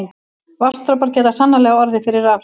Vatnsdropar geta sannarlega orðið fyrir rafhrifum.